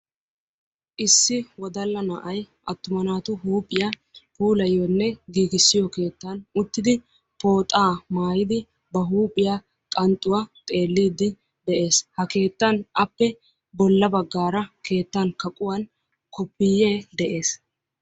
Issi wodalla na'ay attuma naatu huuphiya puulayiyonne giigissiyo keettan uttidi pooxaa maayidi ba huuphiya qanxxuwaa xeelliiddi de'ees. Ha keettan appe bolla baggaara keettan kaquwan koppiiyyee de'ees.